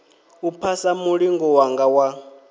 u phasa mulingo wanga wa